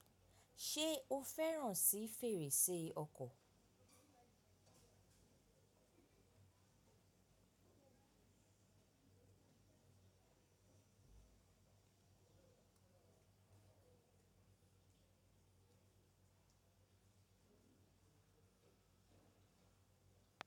Ṣe o fẹran si ferese ọkọ?